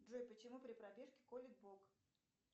джой почему при пробежке колит бок